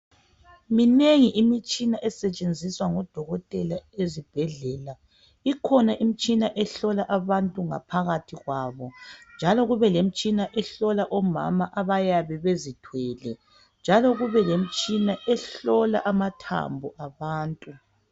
Minengi imitshina esentshenziswa ngodokotela ezibhedlela ikhona imitshina ehlola abantu ngaphakathi kwabo njalo kube lemitshina ehlola omama nxa bezithwele njalo kubelemitshina ehlola amathambo wabantu.